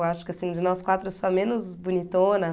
Eu acho que assim, de nós quatro, eu sou a menos bonitona.